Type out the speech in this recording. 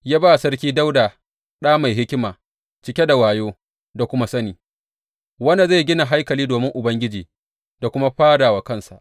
Ya ba Sarki Dawuda ɗa mai hikima, cike da wayo da kuma sani, wanda zai gina haikali domin Ubangiji da kuma fada wa kansa.